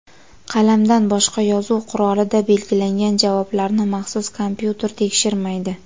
Qalamdan boshqa yozuv qurolida belgilangan javoblarni maxsus kompyuter tekshirmaydi.